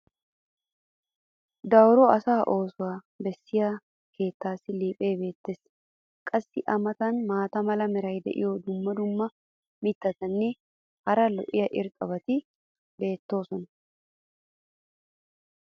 dawuro asaa oosuwaa bessiya keettaassi liiphphee beetees. qassi a matan maata mala meray diyo dumma dumma mitatinne hara daro lo'iya irxxabati beetoosona.